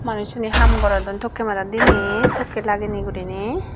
manusune haam gorodon tokke madat dinei tokke lagenei gurinei.